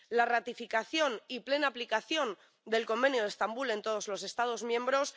la ratificación y plena aplicación del Convenio de Estambul en todos los Estados miembros